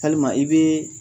Hali ma i be